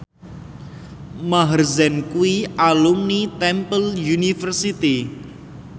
Maher Zein kuwi alumni Temple University